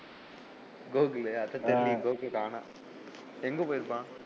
கோகுலு அதான் தெரியலையே கோகுல் காணாம் எங்க போயிருப்பான்?